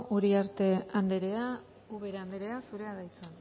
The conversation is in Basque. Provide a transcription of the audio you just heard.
uriarte andrea ubera andrea zurea da hitza